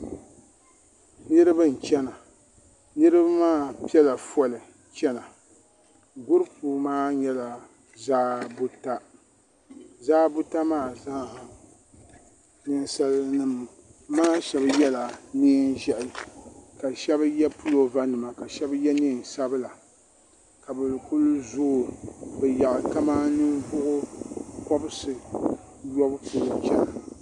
niriba n.chɛna niriba maa pɛla ƒɔli chɛna guripu maa nyɛla ʒɛ bota zaa buta maa zaasaha nɛsalinima zaa yɛla nɛnʒiɛhi ka shɛbi yɛ polovanima ka shɛbi yɛ nɛnsabila ka bɛ kuli zoi zaɣ kamani nivuɣ' kobibisi yɔbu polo chɛna